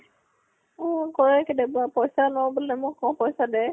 অ কৰে কেতিয়াবা পইচা ল বুলে মই কওঁ পইচা দে